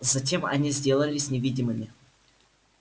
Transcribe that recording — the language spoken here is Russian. затем они сделались невидимыми